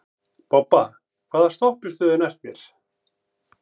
Bobba, hvaða stoppistöð er næst mér?